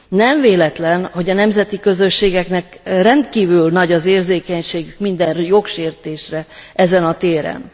Nem véletlen, hogy a nemzeti közösségeknek rendkívül nagy az érzékenységük minden jogsértésre ezen a téren.